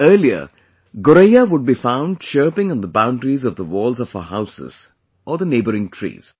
Earlier, Goraiyawould be found chirping on theboundaries of the walls of our houses or the neighbouing trees